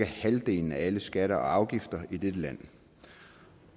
halvdelen af alle skatter og afgifter i dette land